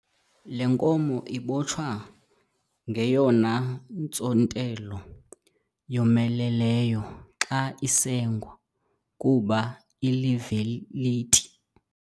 Le nkomo ibotshwa ngeyona ntsontelo yomeleleyo xa isengwa kuba iliveliti.